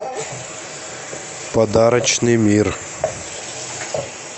подарочный мир